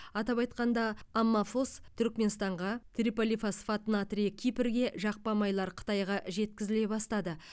атап айтқанда аммафос түрікменстанға триполифосфат натрийі кипрге жақпа майлар қытайға жеткізіле бастады